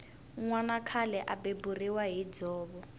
nwana khale a beburiwa hi dzovo